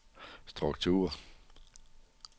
struktur